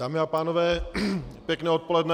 Dámy a pánové, pěkné odpoledne.